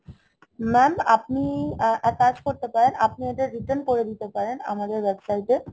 Mam আপনি একটা কাজ করতে পারেন, আপনি এটা return করে দিতে পারেন আমাদের website এ